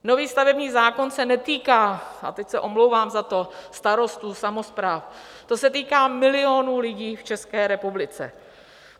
Nový stavební zákon se netýká - a teď se omlouvám za to - starostů, samospráv, ten se týká milionů lidí v České republice.